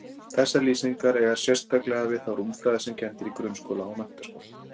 Þessar lýsingar eiga sérstaklega vel við þá rúmfræði sem kennd er í grunnskóla og menntaskóla.